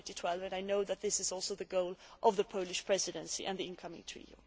2012 I know that this is also the goal of the Polish Presidency and the incoming troika.